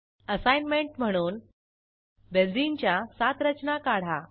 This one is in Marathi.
असाईनमेंट म्हणून बेंझिनच्या सात रचना काढा